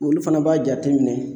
Olu fana b'a jate minɛ.